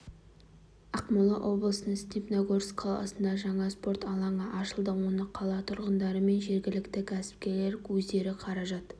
ақмола облысының степногорск қаласында жаңа спорт алаңы ашылды оны қала тұрғындары мен жергілікті кәсіпкерлер өздері қаражат